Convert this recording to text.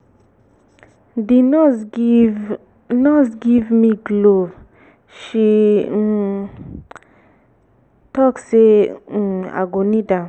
the nurse give nurse give me glove she um talk say um i go need am